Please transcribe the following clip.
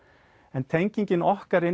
en tengingin okkar inn